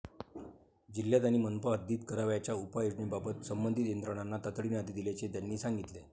जिल्ह्यात आणि मनपा हद्दीत करावयाच्या उपाययोजनांबाबत संबंधित यंत्रणांना तातडीने आदेश दिल्याचे त्यांनी सांगितले.